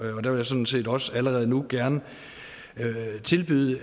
vil jeg sådan set også allerede nu gerne tilbyde